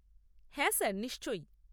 হ্যাঁ স্যার নিশ্চয়ই।